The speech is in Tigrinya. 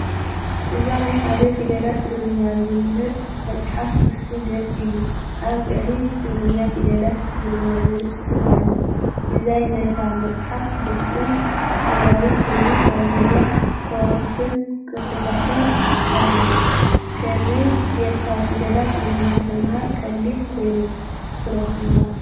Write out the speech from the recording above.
እዚ ናይ ሓደ ፊደላት ትግርኛ ዝምህር መጽሓፍ ክፉት ገጽ እዩ። ኣብ ላዕሊ ብትግርኛ “ፊደላት ትግርኛ”ዝብል ጽሑፍ ኣሎ። ዲዛይን ናይ’ታ መጽሓፍ ድሙቕን ሕብራዊን ኮይኑ፡ኣብ ዙርያኡ ከዋኽብትን ቅጥዕታትን ኣለዎ። ከመይ ጌርካ ፊደላት ትግርኛ ክትመሃር ቀሊል ኮይኑ ይትረክቦ?